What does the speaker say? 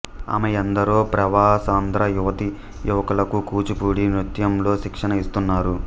ఆమె ఎందరో ప్రవాసాంద్ర యువతి యువకులకు కూచిపూడి నృత్యంలో శిక్షణ ఇస్తున్నారు